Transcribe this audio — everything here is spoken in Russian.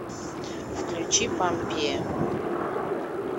включи помпея